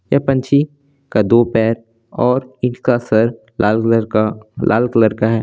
ये पंछी का दो पैर और इनका सर लाल कलर का लाल कलर का है।